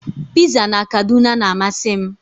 Piza na Kaduna na-amasị m